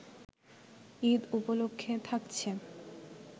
ঈদ উপলক্ষে থাকছে